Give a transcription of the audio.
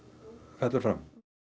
fellur fram